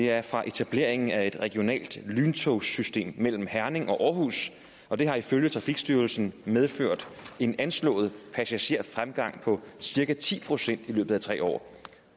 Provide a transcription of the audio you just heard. er fra etableringen af et regionalt lyntogssystem mellem herning og aarhus og det har ifølge trafikstyrelsen medført en anslået passagerfremgang på cirka ti procent i løbet af tre år